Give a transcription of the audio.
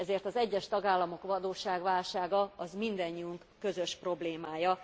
Ezért az egyes tagállamok adósságválsága mindannyiunk közös problémája.